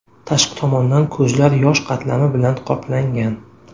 Tashqi tomondan ko‘zlar yosh qatlami bilan qoplangan.